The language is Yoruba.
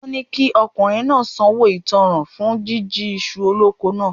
Wọ́n ni kí ọkùnrin náà sanwó ìtánràn fún jíjí iṣu oloko náà.